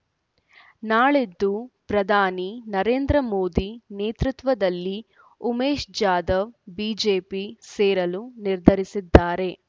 ನಾಳಿದ್ದು ಪ್ರಧಾನಿ ನರೇಂದ್ರ ಮೋದಿ ನೇತೃತ್ವದಲ್ಲಿ ಉಮೇಶ್ ಜಾಧವ್ ಬಿಜೆಪಿ ಸೇರಲು ನಿರ್ಧರಿಸಿದ್ದಾರೆ